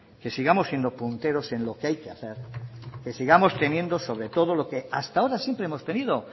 que sigamos siendo punteros en lo que hay que hacer que sigamos teniendo sobre todo lo que hasta ahora siempre hemos tenido